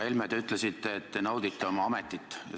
Härra Helme, te ütlesite, et te naudite oma ametit.